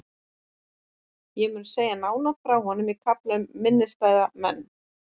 Ég mun segja nánar frá honum í kaflanum um minnisstæða menn.